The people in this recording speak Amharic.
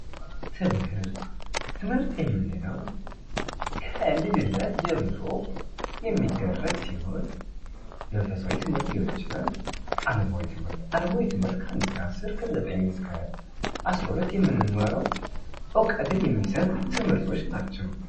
ትምህርት ትምህርት የምንለው ከልጅነት ጀምሮ የሚደረግ ሲሆን መንፈሳዊ ትምህርት ሊሆን ይችላል አለማዊ ትምህርት አለማዊ ትምህርት ከ1-10 ከ9-12 የምንማረው እውቀትን የሚሰጥ ትምህርቶች ናቸው።